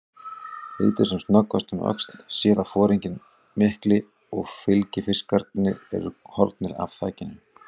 Lítur sem snöggvast um öxl, sér að foringinn mikli og fylgifiskarnir eru horfnir af þakinu.